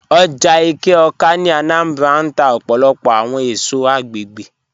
Oja Eke-Awka (Anambra) n tà ọpọlọpọ awọn èṣọ̀ agbẹ̀gbẹ̀